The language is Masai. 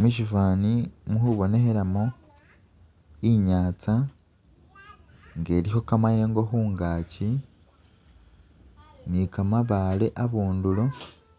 Mushifwani mu khubonekhelamu inyatsa nga elikho kamayengo khungaki ni kamabaale abundulo,